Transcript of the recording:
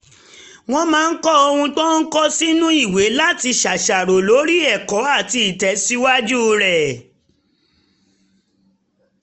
ó máa ń kọ ohun tó ń kọ́ sínú ìwé láti ṣàṣàrò lórí ẹ̀kọ́ àti ìtẹ̀síwájú rẹ̀